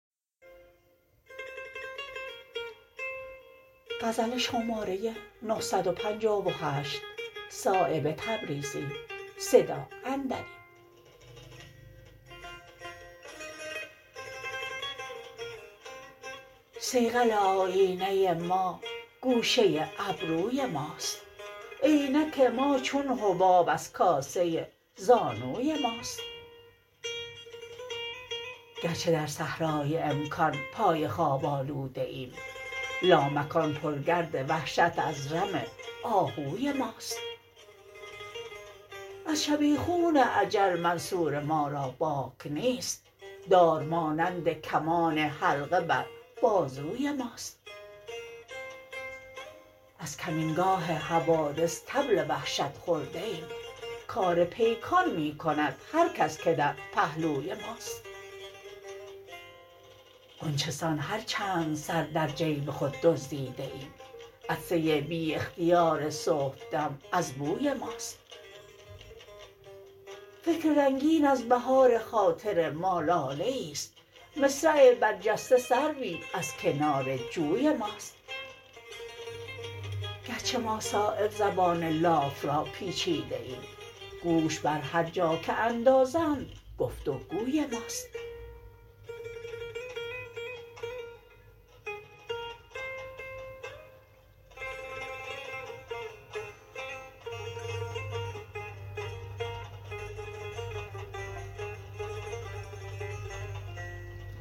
صیقل آیینه ما گوشه ابروی ماست عینک ما چون حباب از کاسه زانوی ماست گرچه در صحرای امکان پای خواب آلوده ایم لامکان پر گرد وحشت از رم آهوی ماست از شبیخون اجل منصور ما را باک نیست دار مانند کمان حلقه بر بازوی ماست از کمینگاه حوادث طبل وحشت خورده ایم کار پیکان می کند هر کس که در پهلوی ماست غنچه سان هر چند سر در جیب خود دزدیده ایم عطسه بی اختیار صبحدم از بوی ماست فکر رنگین از بهار خاطر ما لاله ای است مصرع برجسته سروی از کنار جوی ماست گرچه ما صایب زبان لاف را پیچیده ایم گوش بر هر جا که اندازند گفت و گوی ماست